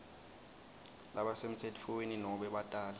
labasemtsetfweni nobe batali